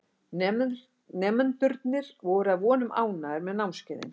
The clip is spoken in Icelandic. Nemendurnir voru að vonum ánægðir með námskeiðin.